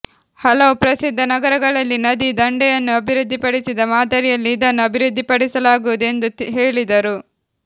ಹಲವು ಪ್ರಸಿದ್ಧ ನಗರಗಳಲ್ಲಿ ನದಿ ದಂಡೆಯನ್ನು ಅಭಿವೃದ್ಧಿಪಡಿಸಿದ ಮಾದರಿಯಲ್ಲಿ ಇದನ್ನು ಅಭಿವೃದ್ಧಿಪಡಿಸಲಾಗುವುದು ಎಂದು ಹೇಳಿದರು